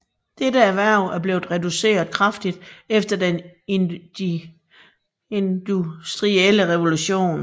Dette erhverv er blevet reduceret kraftigt efter den industrielle revolution